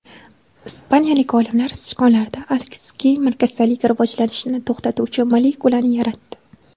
Ispaniyalik olimlar sichqonlarda Alsgeymer kasalligi rivojlanishini to‘xtatuvchi molekulani yaratdi.